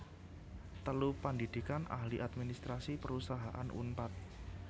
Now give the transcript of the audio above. telu Pandhidhikan Ahli Administrasi Perusahaan Unpad